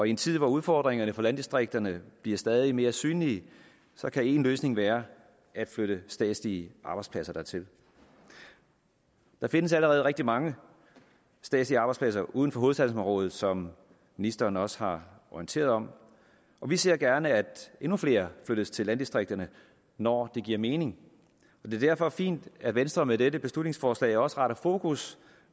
i en tid hvor udfordringerne for landdistrikterne bliver stadig mere synlige kan en løsning være at flytte statslige arbejdspladser dertil der findes allerede rigtig mange statslige arbejdspladser uden for hovedstadsområdet som ministeren også har orienteret om og vi ser gerne at endnu flere flyttes til landdistrikterne når det giver mening det er derfor fint at venstre med dette beslutningsforslag også retter fokus